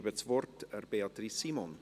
Ich gebe das Wort Beatrice Simon.